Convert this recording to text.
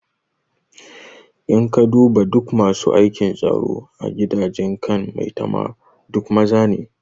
In ka duba duk masu aikin tsaro a gidajen kan maitama duk maza ne